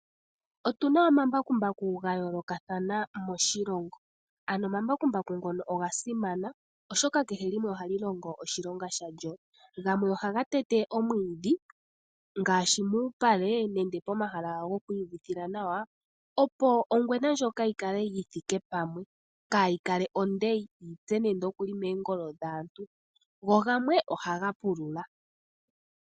Otu na omambakumbaku ga yoolokathana moshilongo, ano omambakumbaku ngono oga simana oshoka kehe limwe ohali longo oshilonga shalyo. Gamwe ohaga tete omwiidhi ngaashi muupale nenge pomahala gokwiiyuvithila nawa opo ongwena ndjoka yi kale yi thike pamwe, kaayi kale onde yi tse nande okuli meengolo dhaantu, go gamwe ohaga pulula.